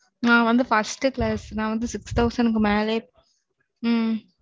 நா வந்து First Class ஆறு ஆயிரம்